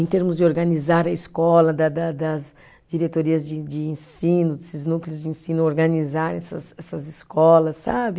em termos de organizar a escola, da da das diretorias de de ensino, desses núcleos de ensino organizarem essas essas escolas, sabe?